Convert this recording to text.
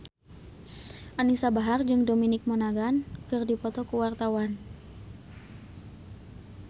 Anisa Bahar jeung Dominic Monaghan keur dipoto ku wartawan